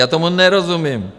Já tomu nerozumím.